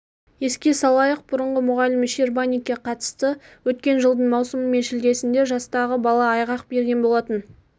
еске салайық бұрынғы мұғалім щербаникке қатысты өткен жылдың маусымы мен шілдесінде жастағы бала айғақ берген болатын